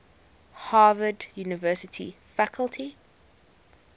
harvard university faculty